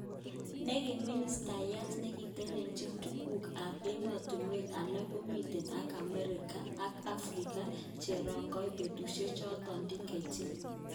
Nekimimistayat nekitelelchin tuguk kap emotunwek alak komiten ak Africa Cherongoi betushe choton Dkt.